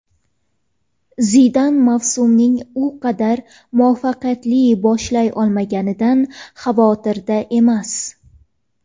Zidan mavsumning u qadar muvaffaqiyatli boshlay olmaganidan xavotirda emas.